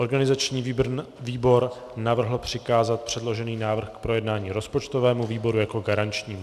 Organizační výbor navrhl přikázat předložený návrh k projednání rozpočtovému výboru jako garančnímu.